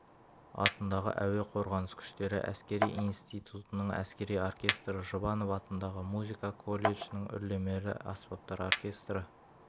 атындағы әуе қорғаныс күштері әскери институтының әскери оркестрі жұбанов атындағы музыка колледжінің үрлемелі аспаптар оркестрі